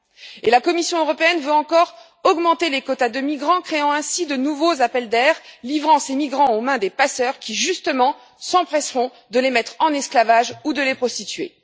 En outre, la Commission européenne veut encore augmenter les quotas de migrants, créant ainsi de nouveaux appels d'air, livrant ces migrants aux mains des passeurs qui, justement, s'empresseront de les mettre en esclavage ou de les prostituer.